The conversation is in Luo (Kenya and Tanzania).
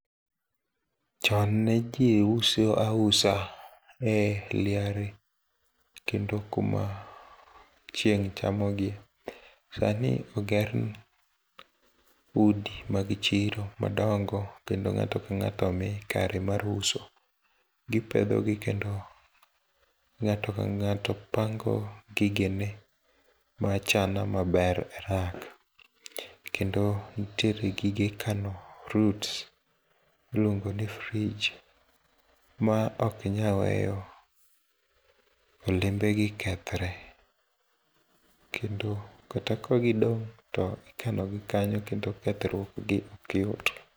Chon ne jii uso ausa e liare, kendo kuma chieng' chamogi. Sani oger udi mag chiro madongo kendo ng'ato kang'ato omi kare mar uso. Gipedhogi kendo ng'ato kang'ato pango gigene machana maber, kendo ntiere gige kano fruits iluongoni fridge ma okinyal weyo olembegi kethre, kendo kata kagidong' to ikanogi kanyo kendo kethruokgi okyot.